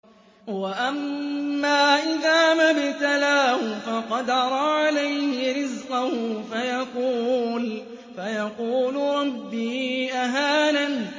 وَأَمَّا إِذَا مَا ابْتَلَاهُ فَقَدَرَ عَلَيْهِ رِزْقَهُ فَيَقُولُ رَبِّي أَهَانَنِ